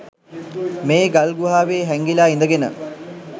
මේ ගල්ගුහාවේ හෑංගිලා ඉදගෙන